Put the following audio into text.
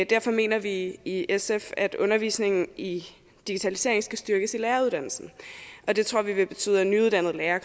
derfor mener vi i sf at undervisningen i digitalisering skal styrkes i læreruddannelsen det tror vi vil betyde at nyuddannede lærere